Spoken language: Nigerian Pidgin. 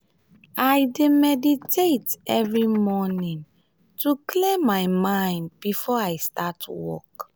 i dey meditate every morning to clear my mind before i start work.